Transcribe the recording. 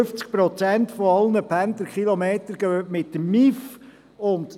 52 Prozent aller Pendlerkilometer entfallen auf den MIV.